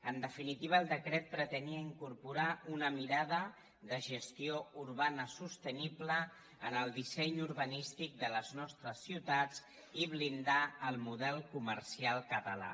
en definitiva el decret pretenia incorporar una mirada de gestió urbana sostenible en el disseny urbanístic de les nostres ciutats i blindar el model co·mercial català